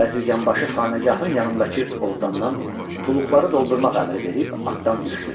Bəzirganbaşı xanəgahın yanındakı ovdandan tuluqları doldurmaq əmri verib atdan düşdü.